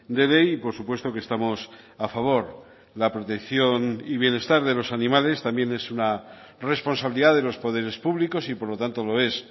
de ley y por supuesto que estamos a favor la protección y bienestar de los animales también es una responsabilidad de los poderes públicos y por lo tanto lo es